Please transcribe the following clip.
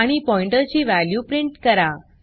आणि पॉइण्टर ची value print करा